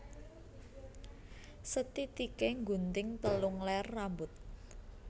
Sethithiké nggunting telung ler rambut